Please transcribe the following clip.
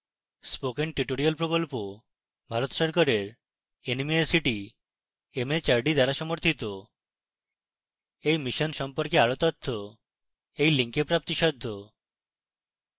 spoken tutorial প্রকল্প ভারত সরকারের nmeict mhrd দ্বারা সমর্থিত এই mission সম্পর্কে আরো তথ্য এই link প্রাপ্তিসাধ্য